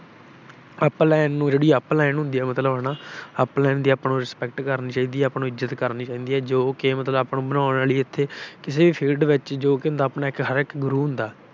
Upline ਨੂੰ ਜਿਹੜੀ Upline ਹੁੰਦੀ ਹੈ ਮਤਲਬ ਹਨਾ। Upline ਹੁੰਦੀ ਆ ਆਪਾ ਨੂੰ respect ਕਰਨੀ ਚਾਹੀਦੀ ਹੈ। ਆਪਾ ਨੂੰ ਇੱਜਤ ਕਰਨੀ ਚਾਹੀਦੀ ਹੈ, ਜੋ ਕਿ ਮਤਲਬ ਆਪਾ ਨੂੰ ਬਣਾਉਣ ਵੇਲੇ ਇਥੇ ਕਿਸੇ ਵੀ field ਵਿੱਚ ਜੋ ਕਿ ਹੁੰਦਾ, ਆਪਣਾ ਇੱਕ ਗੁਰੂ ਹੁੰਦਾ।